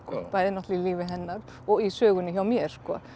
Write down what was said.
bæði náttúrulega í lífi hennar og í sögunni hjá mér